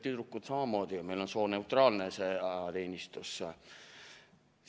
Tüdrukutel samamoodi, meil on sooneutraalne ajateenistus.